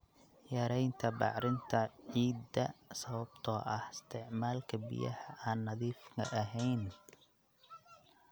Yaraynta bacrinta ciidda sababtoo ah isticmaalka biyaha aan nadiifka ahayn.